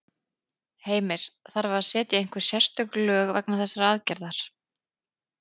Heimir: Þarf að setja einhver sérstök lög vegna þessarar aðgerðar?